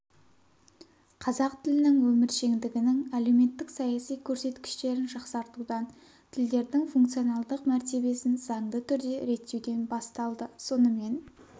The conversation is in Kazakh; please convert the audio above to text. қазақ тілінің өміршеңдігінің әлеуметтік-саяси көрсеткіштерін жақсартудан тілдердің функционалдық мәртебесін заңды түрде реттеуден басталды сонымен